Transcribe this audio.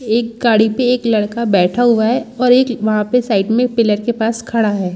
एक गाडी पे एक लड़का बैठा हुआ है और एक वहाँ पे साइड में पिलर | के पास खड़ा है।